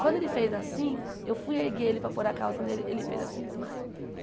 Quando ele fez assim, eu fui erguer ele para pôr a calça nele, ele fez assim e desmaiou.